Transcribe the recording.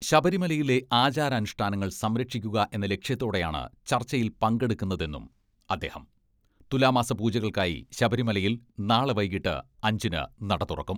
ശബരിമലയിലെ ആചാരാനുഷ്ഠാനങ്ങൾ സംരക്ഷിക്കുക എന്ന ലക്ഷ്യത്തോടെയാണ് ചർച്ചയിൽ പങ്കെടുക്കുന്നതെന്നും അദ്ദേഹം തുലാമാസ പൂജകൾക്കായി ശബരിമലയിൽ നാളെ വൈകീട്ട് അഞ്ചിന് നട തുറക്കും.